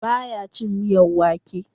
Ba ya cin miyan wake